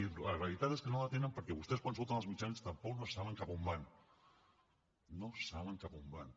i la realitat és que no la tenen perquè vostès quan surten als mitjans tampoc no saben cap a on van no saben cap a on van